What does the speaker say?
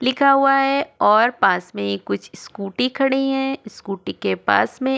लिखा हुआ है और पास में कुछ स्कूटी खड़ी हैं स्कूटी के पास में --